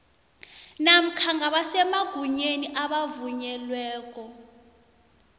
namkha ngabasemagunyeni abavunyelweko